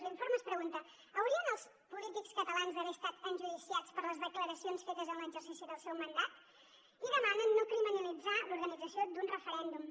l’informe es pregunta haurien els polítics catalans d’haver estat enjudiciats per les declaracions fetes en l’exercici del seu mandat i demanen no criminalitzar l’organització d’un referèndum